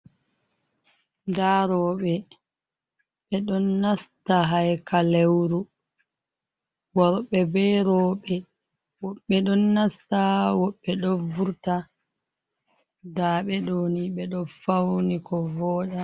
Ndaa rewɓe ɓe ɗon nasta haykaleeru worɓe be rewɓe woɓɓe ɗon nasta woɓɓe ɗon wurta ndaa ɓe ɗo ni ɓe ɗon fawni ko wooɗa